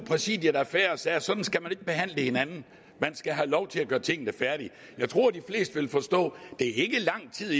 præsidiet affære og sagde at sådan skal man ikke behandle hinanden man skal have lov til at gøre tingene færdige jeg tror de fleste vil forstå at det ikke er lang tid